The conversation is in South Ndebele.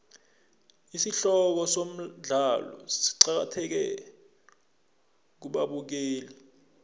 isihloko somdlalo siqakathekile kubabukeli